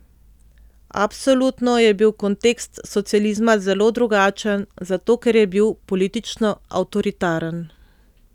Absolutno je bil kontekst socializma zelo drugačen, zato ker je bil politično avtoritaren.